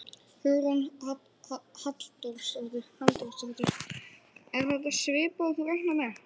Hugrún Halldórsdóttir: Er þetta svipað og þú reiknaðir með?